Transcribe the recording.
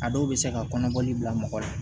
A dɔw bɛ se ka kɔnɔbɔli bila mɔgɔ la